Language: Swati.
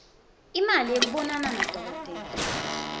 imali yekubonana nadokotela